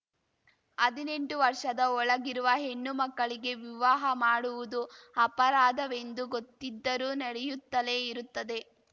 ಹದಿನೆಂಟು ವರ್ಷದ ಒಳಗಿರುವ ಹೆಣ್ಣು ಮಕ್ಕಳಿಗೆ ವಿವಾಹ ಮಾಡುವುದು ಅಪರಾಧವೆಂದು ಗೊತ್ತಿದ್ದರೂ ನಡೆಯುತ್ತಲೇ ಇರುತ್ತದೆ